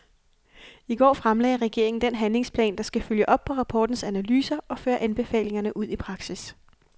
I går fremlagde regeringen den handlingsplan, der skal følge op på rapportens analyser og føre anbefalingerne ud i praksis.